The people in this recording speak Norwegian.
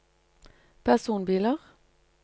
personbiler